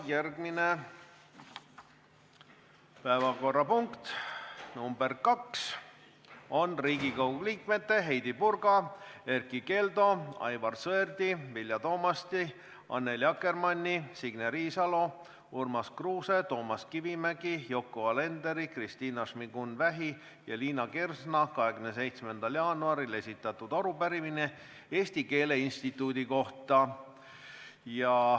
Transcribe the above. Järgmine päevakorrapunkt, nr 2 on Riigikogu liikmete Heidy Purga, Erkki Keldo, Aivar Sõerdi, Vilja Toomasti, Annely Akkermanni, Signe Riisalo, Urmas Kruuse, Toomas Kivimägi, Yoko Alenderi, Kristina Šmigun-Vähi ja Liina Kersna 27. jaanuaril esitatud arupärimine Eesti Keele Instituudi kohta.